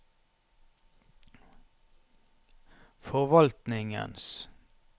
forvaltningens